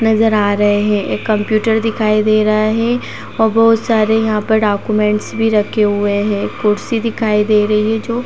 नज़र आ रहे है। एक कंप्यूटर दिखाई दे रहा है और बहुत सारे यहाँ पर डाक्यूमेंट्स भी रखे हुए हैं। कुर्सी दिखाई दे रही है जो --